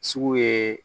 Sugu ye